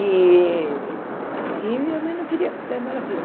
E e minha mãe não queria que eu fizesse nada daquilo.